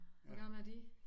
Hvor gamle er de